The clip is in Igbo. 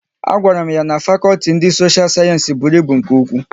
A gwara m ya na fakọlti ndị sosha sayensị bụrụ ịbụ nke ụkwụ